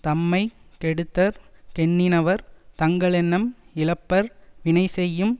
தம்மை கெடுத்தற் கெண்ணினவர் தங்களெண்ணம் இழப்பர் வினைசெய்யும்